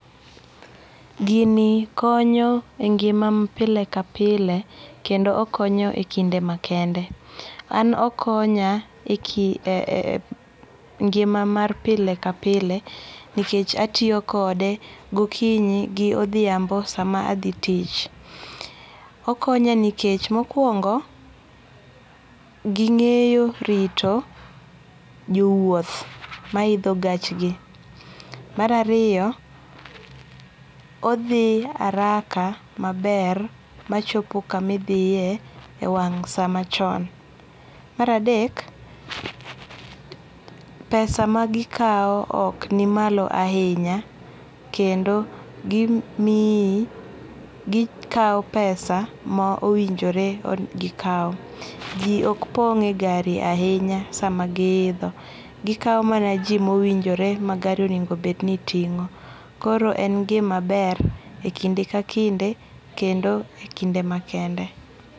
Gini konyo e ngi'ma pile ka pile kendo okonyo e kinde makende, an okonya ngima mar pile ka pile nikech atiyo kode gokinyi gi odhiambo sama athi tich, okonya nikech mokuongo gingeyo rito jo wuoth ma hitho gachgi, marariyo, othi haraka maber machopo kamithie e wang' samachon ' maradek, pesa magikawo okni malo ahinya kendo gimiyi gikawo pesa ma owinjore gikawo ji ok pong' e gari ahinya sama gihitho, gikawo mana ji ma owinjore ma gari onego bedni tingo' koro en gima ber e kinde ka kinde kendo e kinde makende.